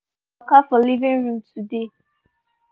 him crawl waka for living room today